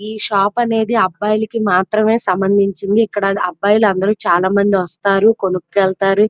ఈ షాప్ అనేది అబ్బాయిలకి మాత్రమే సంబంధించింది. ఇక్కడ అది అబ్బాయిలు అందరూ చాలా మంది వస్తారు కొనుకెళ్తారు.